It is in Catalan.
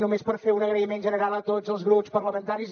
només per fer un agraïment general a tots els grups parlamentaris